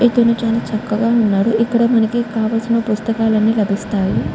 ఇక్కడ చకగా ఉన్నాడు. ఇక్కడ మనకి కావలిసిన పుస్తకల్లు అని లాబిస్తాయి.